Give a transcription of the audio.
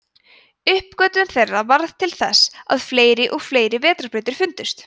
uppgötvun þeirra varð til þess að fleiri og fleiri vetrarbrautir fundust